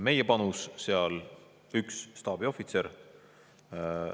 Meie panus seal on üks staabiohvitser.